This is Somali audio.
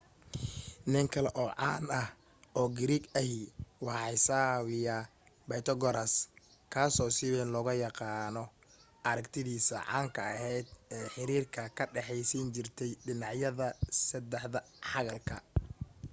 nin kale oo caan ah oo giriig ahi waa xisaabiya baytogaraas kaaso si wayn loogu yaaano aragtidiisii caanka ahayd ee xiriirka ka dhexaysiin jirtay dhinacyada saddex xagalka